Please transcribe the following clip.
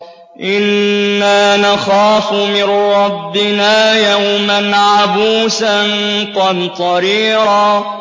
إِنَّا نَخَافُ مِن رَّبِّنَا يَوْمًا عَبُوسًا قَمْطَرِيرًا